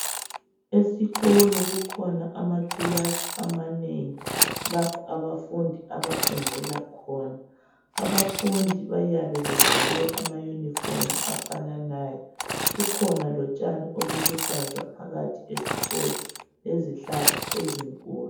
Esikolo kukhona amakilasi amanengi lapho abafundi abafundela khona. Abafundi bayabe begqoke amayunifomu afananayo. Kukhona lotshani obuluhlaza phakathi esikolo lezihlahla ezinkulu